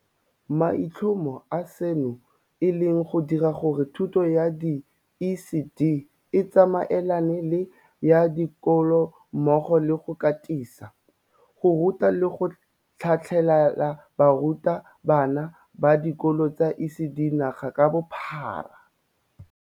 Maitlhomo a seno e le go dira gore thuto ya di-ECD e tsamaelane le ya dikolo mmogo le go katisa, go ruta le go tlhatlhelela baruta bana ba dikolo tsa ECD naga ka bophara.